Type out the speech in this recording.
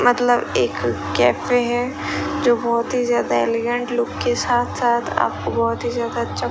मतलब एक कैफे हैं जो बाहोंत हि ज्यादा एलिगेंट लुक के साथ साथ आपको बहोत हि ज्यादा अच्छा --